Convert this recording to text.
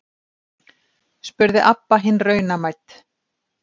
spurði Abba hin raunamædd.